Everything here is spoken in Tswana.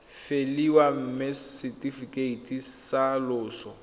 faeliwa mme setefikeiti sa loso